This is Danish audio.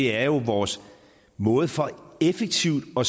er vores måde for effektivt at